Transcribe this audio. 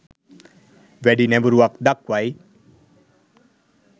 වැඩි නැඹුරුවක් දක්වයි